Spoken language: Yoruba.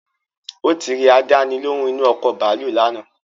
Ó ti rẹ àdáni lóhùn inu ọkọ̀ bàálù lánàá